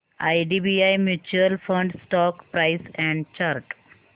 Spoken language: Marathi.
IDBI mutual fund stock price and chart